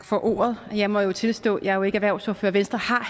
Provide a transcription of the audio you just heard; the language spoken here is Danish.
for ordet og jeg må jo tilstå at jeg ikke er erhvervsordfører venstre har